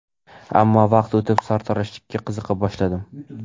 Ammo vaqt o‘tib, sartaroshlikka qiziqa boshladim.